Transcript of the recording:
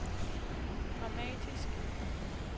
dramatisk